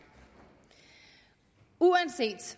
uanset